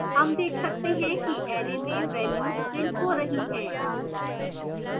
हम देख सकते हैं कि array में values printed हो रही हैं